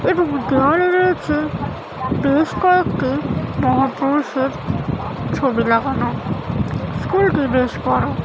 এবং গাইড় রয়েছে বেশ কয়েকটি মহাপুরুষের ছবি লাগানো স্কুল -টি বেশ বড় ।